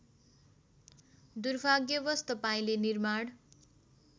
दुर्भाग्यवस तपाईँले निर्माण